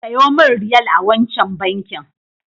Sayo min Riyal a wancan bankin.